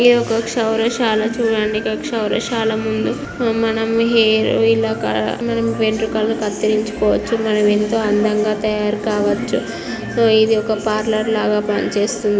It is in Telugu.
సౌరశాల చూడండి. ఇక్కడ సౌరశాల ముందు మనం హేర్ మనం వెంట్రుకలు కత్తెరించుకోవచ్చు. మనమెంతో అందంగా తయారుకావచ్చు. ఇది ఒక పార్లర్ లాగా పనిచేస్తుంది .